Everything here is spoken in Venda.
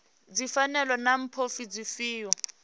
ndi pfanelo na mbofho dzifhio